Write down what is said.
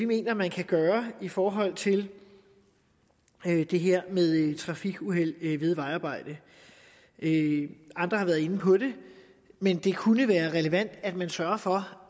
mener man kan gøre i forhold til det her med trafikuheld ved vejarbejde andre har været inde på det men det kunne være relevant at man sørger for